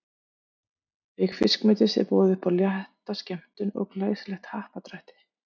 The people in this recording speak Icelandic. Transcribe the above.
Auk fiskmetis er boðið upp á létta skemmtun og glæsilegt happadrætti.